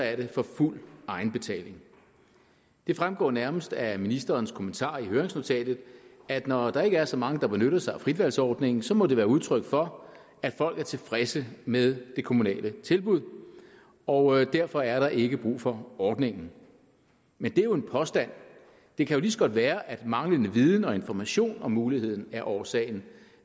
er det for fuld egenbetaling det fremgår nærmest af ministerens kommentarer i høringsnotatet at når der ikke er så mange der benyttede sig af fritvalgsordningen så må det være udtryk for at folk er tilfredse med det kommunale tilbud og derfor er der ikke brug for ordningen men det er jo en påstand det kan lige så godt være at manglende viden og information om muligheden er årsagen